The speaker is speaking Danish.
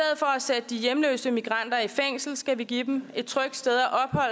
at sætte de hjemløse migranter i fængsel skal vi give dem et trygt sted